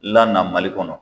Lana Mali kɔnɔ.